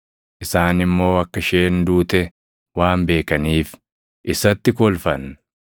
Isaan immoo akka isheen duute waan beekaniif isatti kolfan.